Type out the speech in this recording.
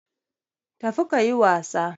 Tafi kayi wasa